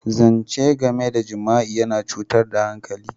Zance game da jima'i na cutar hankali.